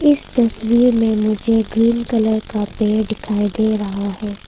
इस तस्वीर में मुझे ग्रीन कलर का पेड़ दिखाई दे रहा है।